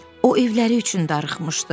O evləri üçün darıxmışdı.